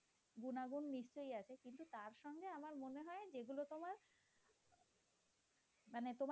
মানে